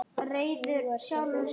Nú er það húsnæði fundið.